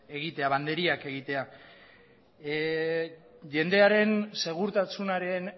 egitea banderiak egitea jendearen segurtasunaren